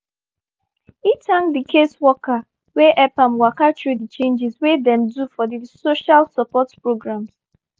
e thank di caseworker wey help am waka through di changes wey dem do for di social support programs.